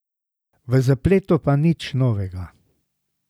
V zapletu pa nič novega.